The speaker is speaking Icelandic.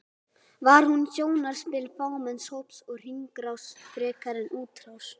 Var hún sjónarspil fámenns hóps og hringrás frekar en útrás?